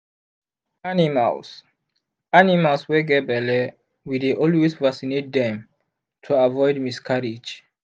animals animals wy get belle we dey always vacinate dem to avoid miscarrige